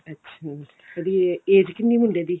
ਅੱਛਾ ਉਹਦੀ age ਕਿੰਨੀ ਮੁੰਡੇ ਦੀ